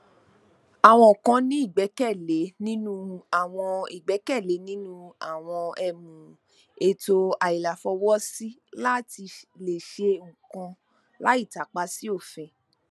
àwọn kan ní igbẹkẹle ninu awọn igbẹkẹle ninu awọn um eto ailafọwọsi lati le ṣe nnkan lai tapa si ofin